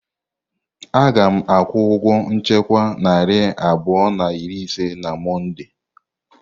Aga m akwụ ụgwọ nchekwa narị abụọ na iri ise na Mọnde.